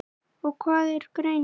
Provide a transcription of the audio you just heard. og Hvað er greind?